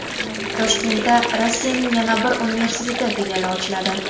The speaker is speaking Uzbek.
Toshkentda Rossiyaning yana bir universiteti filiali ochiladi.